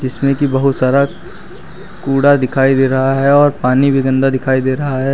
इसमें कि बहुत सारा कूड़ा दिखाई दे रहा है और पानी भी गंदा दिखाई दे रहा है।